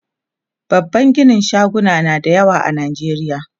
babban ginin shaguna na da yawa a nijeriya